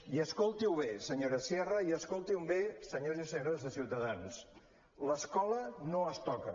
i escolti ho bé senyora sierra i escoltin ho bé senyors i senyores de ciutadans l’escola no es toca